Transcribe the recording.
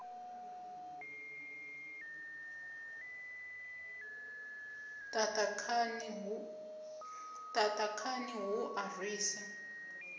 ṱaṱa khani hu a rwisa